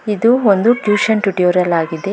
ಇದು ಒಂದು tuition tutorial ಆಗಿದೆ.